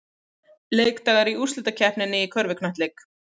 Leikdagar í úrslitakeppninni í körfuknattleik